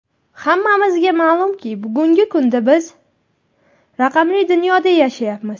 Hammamizga ma’lumki, bugungi kunda biz raqamli dunyoda yashayapmiz.